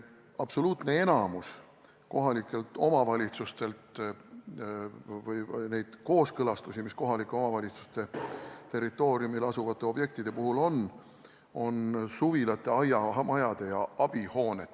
Absoluutne enamik kohalike omavalitsuste tehtavaid kooskõlastusi, mis kohalike omavalitsuste territooriumil asuvate objektide puhul tuleb teha, on suvilate, aiamajade ja abihoonetega kaasas käivad kooskõlastused.